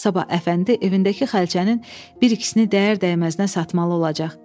Sabah Əfəndi evindəki xalçanın bir-ikisini dəyər-dəyməzinə satmalı olacaq.